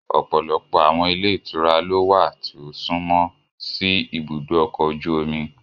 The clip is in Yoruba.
Ọpọlọpọ awọn ilé ìtura lo wa tí ọ sunmo si ìbùdó ọkọ ojú omi